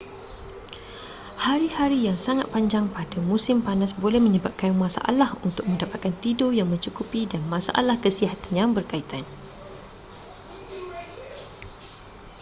hari-hari yang sangat panjang pada musim panas boleh menyebabkan masalah untuk mendapatkan tidur yang mencukupi dan masalah kesihatan yang bekaitan